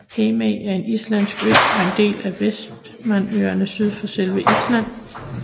Heimaey er en islandsk ø og en del af Vestmannaøerne syd for selve Island